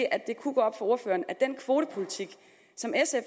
at det kunne gå op for ordføreren at den kvotepolitik som sf